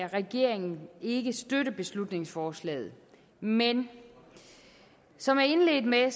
regeringen ikke støtte beslutningsforslaget men som jeg indledte med at